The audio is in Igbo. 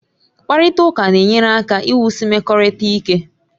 Mkparịta ụka na-enyere aka iwusi mmekọrịta ike